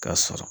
K'a sɔrɔ